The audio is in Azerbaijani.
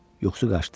Yuxusu qaçdı.